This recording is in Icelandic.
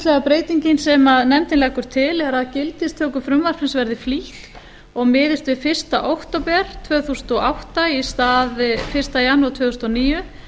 breytingin sem nefndin leggur til er að gildistöku frumvarpsins verði flýtt og miðist við fyrsta október tvö þúsund og átta í stað fyrsta janúar tvö þúsund og níu